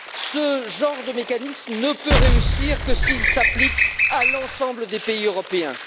Ce genre de mécanisme ne peut réussir que s'il s'applique à l'ensemble des pays européens.